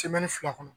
fila kɔnɔ